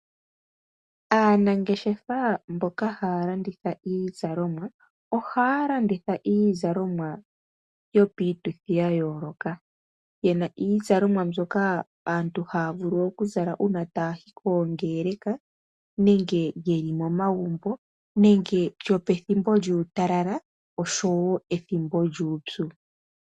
Aanangeshefa mboka haya landitha iizalomwa ohaya landitha iizalomwa yopiituthi ya yooloka. Yena iizalomwa mbyoka aantu haya vulu okuzala uuna taya yi koongeleka nenge yeli momagumbo nenge yopethimbo lyuutalala nenge yopethimbo lyuupyu.